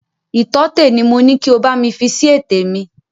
Ìtọ́tẹ̀ ni mo ni kí o bámi fi si ètè mi!